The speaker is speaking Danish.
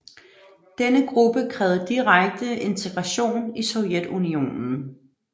Denne gruppe krævede direkte integration i Sovjetunionen